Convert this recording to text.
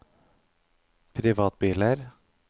privatbiler